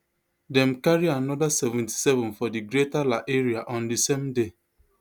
dem carry another seventy-seven for di greater la area on di same day